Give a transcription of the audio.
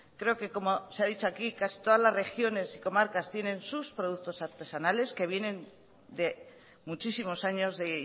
creo que como se ha dicho aquí casi todas las regiones y comarcas tienen sus productos artesanales que vienen de muchísimos años de